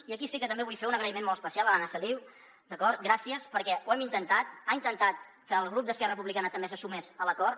i aquí sí que també vull fer un agraïment molt especial a l’anna feliu d’acord gràcies perquè ho hem intentat ha intentat que el grup d’esquerra republicana també se sumés a l’acord